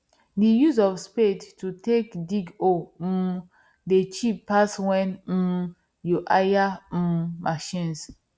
the use of spade to take dig hole um dey cheap pass when um you hire um machines